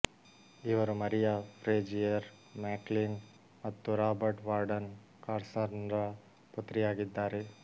ಇವರು Maria Frazier McLean ಮತ್ತು Robert Warden ಕಾರ್ಸನ್ರ ಪುತ್ರಿಯಾಗಿದ್ದಾರೆ